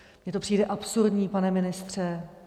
Mně to přijde absurdní, pane ministře.